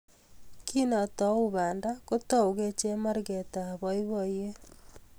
Kindatou banda, kotoukei chemarget ab boiboyet